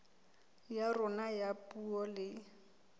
ya rona ya puo le